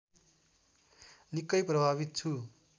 निकै प्रभावित छु